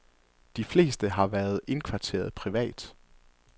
De fleste har været indkvarteret privat.